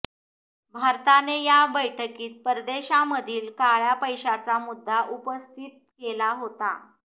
भारताने या बैठकीत परदेशामधील काळ्या पैशाचा मुद्दा उपस्थित केला होता